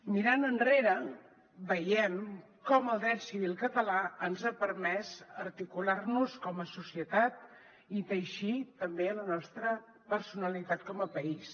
mirant enrere veiem com el dret civil català ens ha permès articular nos com a societat i teixir també la nostra personalitat com a país